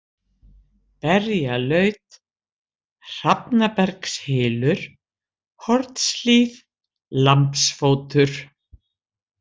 Berjalaut, Hrafnabergshylur, Hornshlíð, Lambsfótur